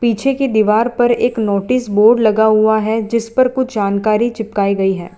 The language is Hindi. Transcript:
पीछे की दीवार पर एक नोटिस बोर्ड लगा हुआ है जिस पर कुछ जानकारी चिपकाई गई है।